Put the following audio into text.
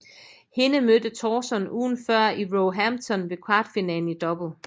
Hende mødte Tauson ugen før i Roehampton ved kvartfinalen i double